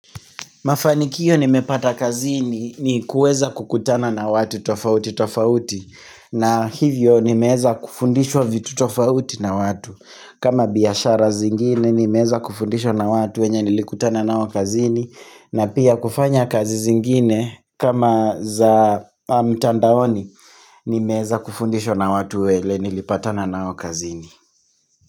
Mafanikio nimepata kazini ni kuweza kukutana na watu tofauti tofauti na hivyo nimeweza kufundishwa vitu tofauti na watu kama biashara zingine nimeweza kufundishwa na watu wenye nilikutana nao kazini na pia kufanya kazi zingine kama za mtandaoni Nimeweza kufundishwa na watu wele nilipatana nao kazini.